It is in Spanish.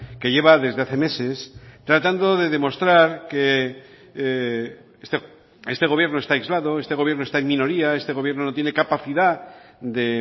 que lleva desde hace meses tratando de demostrar que este gobierno está aislado este gobierno está en minoría este gobierno no tiene capacidad de